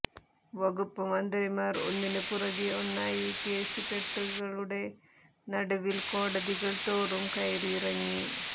വകുപ്പ് മന്ത്രിമാർ ഒന്നിന് പിറകെ ഒന്നായി കേസുകെട്ടുകളുടെ നടുവിൽ കോടതികൾതോറും കയറിയിറങ്ങി